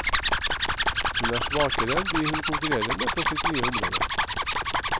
Hun er svakere enn de hun konkurrerer med på sitt nye område.